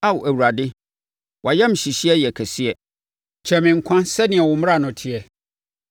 Ao Awurade, wʼayamhyehyeɛ yɛ kɛseɛ; kyɛe me nkwa so sɛdeɛ wo mmara no teɛ.